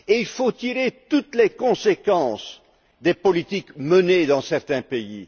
Il faut tirer toutes les conséquences des politiques menées dans certains pays.